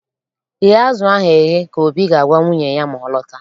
Ghee azụ ahụ eghe!, ka Obi ga-agwa nwunye ya ma ọ lọta